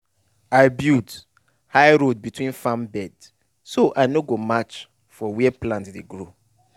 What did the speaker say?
i build high road between farm bed so i no go match for where plant dey grow